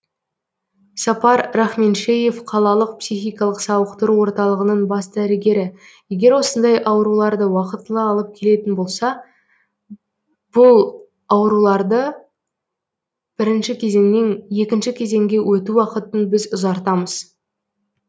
сапар рахменшеев қалалық психикалық сауықтыру орталығының бас дәрігері егер осындай ауруларды уақытылы алып келетін болса бұл ауруларды бірінші кезеңнен екінші кезеңге өту уақытын біз ұзартамыз